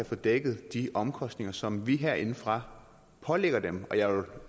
få dækket de omkostninger som vi herindefra pålægger dem og jeg vil